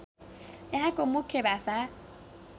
यहाँको मुख्य भाषा